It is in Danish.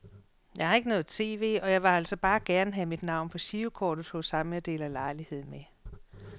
Jeg har ikke noget tv, og jeg ville altså bare gerne have mit navn på girokortet hos ham jeg deler lejlighed med.